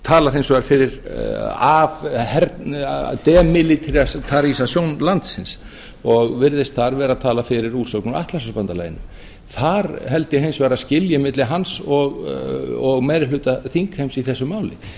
talar hins vegar fyrir sem landsins og virðist þar vera að tala fyrir úrsögn út atlantshafsbandalaginu þar held ég hins vegar að skilji milli hans og meiri hluta þingheims í þessu máli